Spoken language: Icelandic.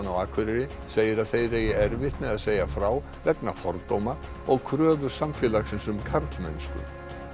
á Akureyri segir að þeir eigi erfitt með að segja frá vegna fordóma og kröfu samfélagsins um karlmennsku